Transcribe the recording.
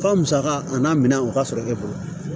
Fɔ musaka a n'a minɛ o ka sɔrɔ e bolo